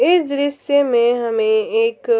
इस दृश्य में हमे एक